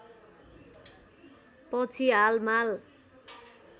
पछि हाल माल